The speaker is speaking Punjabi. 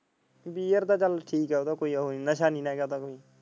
Beer ਤਾਂ ਚੱਲ ਠੀਕ ਹ ਕੋਈ ਹੁਣ ਨਸ਼ਾ ਨੀ ਨਾ ਕਰਤਾ।